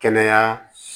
Kɛnɛya